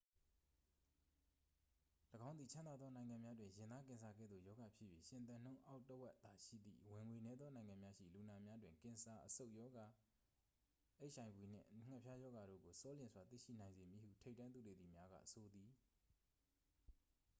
၎င်းသည် ချမ်းသာသော နိုင်ငံများတွင် ရင်သားကင်ဆာ ကဲ့သို့ ရောဂါဖြစ်၍ ရှင်သန်နှုန်းအောက် တစ်ဝက်သာရှိသည့် ဝင်ငွေနည်းသော နိုင်ငံများရှိ လူနာများတွင် ကင်ဆာ အဆုတ်ရောဂါ အိတ်အိုင်ဗွီနှင့် ငှက်ဖျားရောဂါတို့ကို ဆောလျင်စွာ သိရှိနိုင်စေမည်ဟု ထိပ်တန်းသုတေသီများက ဆိုပါသည်